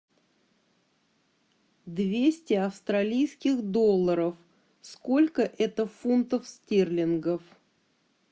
двести австралийских долларов сколько это фунтов стерлингов